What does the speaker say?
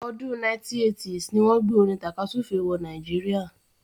ọdún 1980s ni wọ́n gbé orin tàkasúfèé wọ Nàìjíríà.